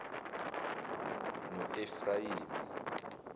noefrayimi